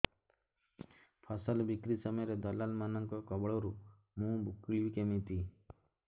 ଫସଲ ବିକ୍ରୀ ସମୟରେ ଦଲାଲ୍ ମାନଙ୍କ କବଳରୁ ମୁଁ ମୁକୁଳିଵି କେମିତି